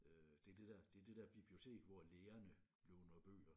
Øh det er det det er det der bibliotek hvor lærerne låner bøger